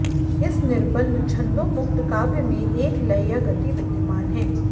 इस निर्बन्ध छन्दोमुक्त काव्य में एक लय या गति विद्यमान है